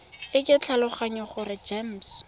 e ke tlhaloganya gore gems